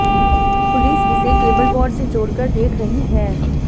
police इसे cable war से जोड़कर देख रही है